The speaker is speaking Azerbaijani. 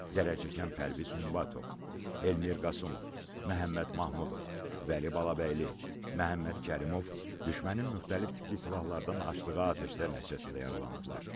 Zərər çəkən Pərviz Hümbətov, Elmir Qasımov, Məhəmməd Mahmudov, Vəli Balabəyli, Məhəmməd Kərimov düşmənin müxtəlif tipli silahlardan açdığı atəşlər nəticəsində yaralanıblar.